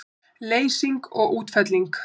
Leysing og útfelling